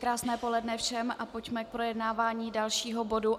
Krásné poledne všem a pojďme k projednávání dalšího bodu.